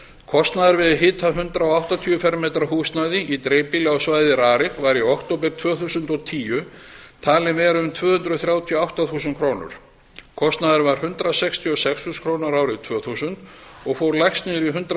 kostnaður við að hita hundrað áttatíu fermetra húsnæði í dreifbýli á svæði rarik var í október tvö þúsund og tíu talinn vera um tvö hundruð þrjátíu og átta þúsund krónur kostnaðurinn var hundrað sextíu og sex þúsund krónur árið tvö þúsund og fór lægst niður í hundrað